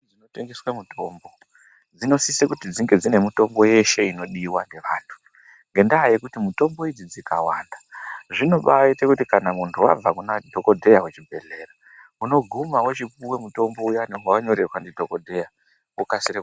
....dzinotengeswe mutombo dzinosise kuti dzinge dzine mutombo yeshe inodiwa ngevantu. Ngendaa yekuti mutombo idzi dzikawanda zvinobaaite kuti kana muntu wabva kuna dhogodheya kuchibhehlera unoguma wochipuwe mutombo uyani wawanyorerwa ndidhogodheya, wokasire ku...